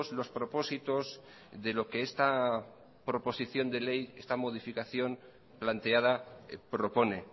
los propósitos de lo que esta esta modificación planteada propone